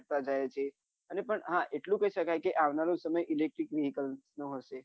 ગયે છે અને પણ હા એટલું કહી શકાય આવનારો સમય electric વિકલ્પ નો હોઈ છે